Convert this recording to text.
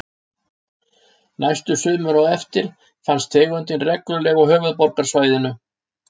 Næstu sumur á eftir fannst tegundin reglulega á höfuðborgarsvæðinu.